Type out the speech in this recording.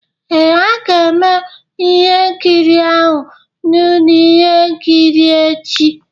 Ee, a ga-eme ihe nkiri ahụ na ụlọ ihe nkiri echi